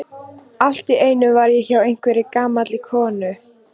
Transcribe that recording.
Allt í einu var ég hjá einhverri gamalli konu.